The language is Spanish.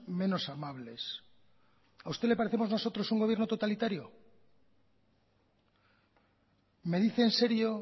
menos amables a usted le parecemos nosotros un gobierno totalitario me dice en serio